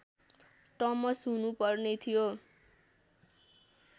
टमस हुनुपर्ने थियो